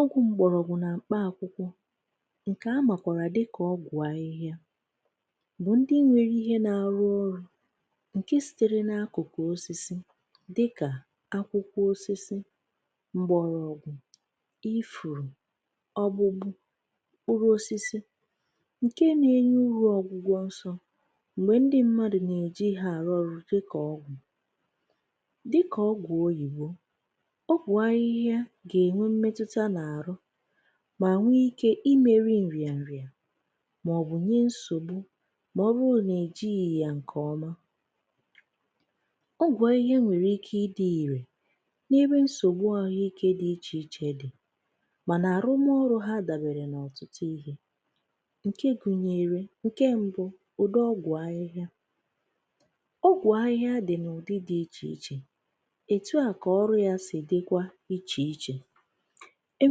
Ọgwụ mgbọrọgwụ na mkpa akwụkwọ nke a makwaara dịka ọgwụ ahịhịa bụ ndị nwe2ihe na-arụ ọrụ nke sitere n'akụkụ osisi dịka akwụkwọ osisi, mgbọrọgwụ, ifuru, ọ́gbụ́gbụ́, mkpụrụ osisi nke nagenye uru ọgwụgwọ nsọ mgbe ndị mmadụ nageji ha arụ ọrụ dịka ọgwụ. Dịka ọgwụ oyibo, ọ bụ ahịhịa ga-enwe mmetụta n'arụ ma nwee ike imeri nrịanrịa maọbụ nyee nsogbu ma ọ bụrụ na ejighị ya nke ọma. Ọgwụ ahịhịa nwere ike ịdị ire n'ebe nsogbu ahụike dị iche iche dị mana arụmọrụ ha dabere n'ọtụtụ ihe nke gụnyere nke mbụ, udi ọgwụ ahịhịa. Ọgwụ ahịhịa dị n'udi dị iche iche, etu a ka ọrụ ya si dịkwa iche iche. E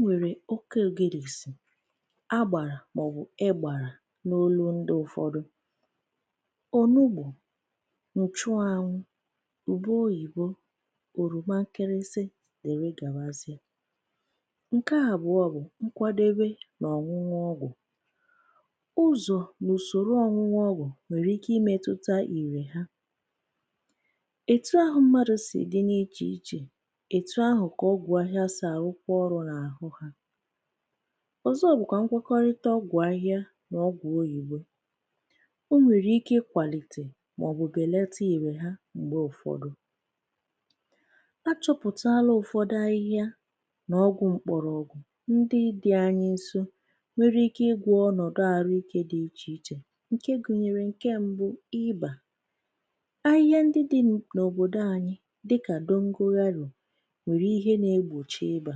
nwere okogirisi, ágbàrà maọbụ égbàrà n'onú ndị ụfọdụ, onugbu, nchụanwụ, ube oyibo, oroma nkịrịsị dịrị gawazie. Nke abụọ bụ nkwadebe na ọṅụṅụ ọgwụ. Ụzọ na usoro ọṅụṅụ ọgwụ nwere ike imetụta ìrè ha. Etu ahụ mmadụ si dị n'iche iche, etu ahụ ka ọgwụ ahịhịa si arụkwa ọrụ n'arụ ha. Ọzọ bụkwa ngwọkọrịta ọgwụ ahịhịa na ọgwụ oyibo. O nwere ike ịkwalite maọbụ belata irè ha mgbe ụfọdụ. A chọpụtaala ụfọdụ ahịhịa na ọgwụ mgbọrọgwụ ndị dị anyị nso nwere ike ịgwọ ọnọdụ ahụike dị iche iche nke gụnyere nke mbụ, ị́bà. Ahịhịa ndị dịnụ n'obodo anyị dịka dogonyaro nwere ihe na-egbochi ị́bà.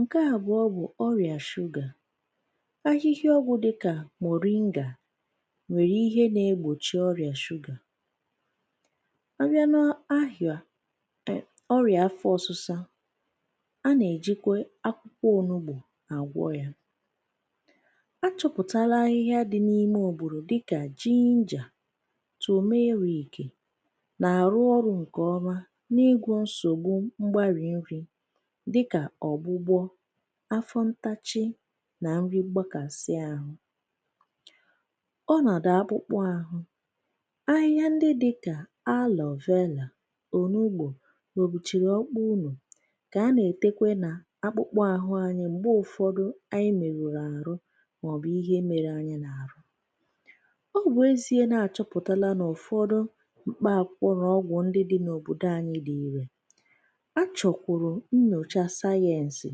Nke abụọ bụ ọrịa sugar. Ahịhịa ọgwụ dịka moringa nwere ihe na-egbochi sugar. A bịa n'ahyụa ọrịa afọ ọsụsa, a na-ejikwa akwụkwọ onugbo agwọ ya. A chọpụtala ahịhịa dị n'ime oboro dịka ginger, turmeric na-arụ ọrụ ọfụma n'ịgwọ nsogbu mgbari nri dịka ọ̀gbụ́gbọ́, afọ ntachi na nri mgbakasị ahụ. Ọnọdụ akpụkpọ ahụ. Ahịhịa ndị di ka aloe vela, onugbo, ogbuchiri ọkpụkpụ ụnọ ka a nagetekwe na akpụkpọ ahụ anyị mgbe ụfọdụ anyị merụrụ ahụ maọbụ ihe mere anyị n'ahụ. Ọ bụ ezie na achọpụtala na ụfọdụ mkpa akwụkwọ na ọgwụ ndị dị n'obodo anyị dị irè, a chọkwuru nnyocha sayensị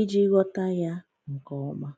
iji ghọta ya nke ọma